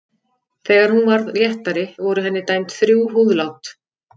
Þegar hún varð léttari voru henni dæmd þrjú húðlát.